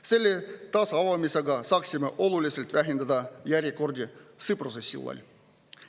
Selle taasavamisega saaksime oluliselt vähendada järjekordi Sõpruse sillal.